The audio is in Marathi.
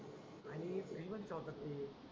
अरे आणि फ्रिज मध्ये ठेवतात ते